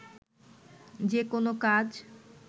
যেকোনো কাজ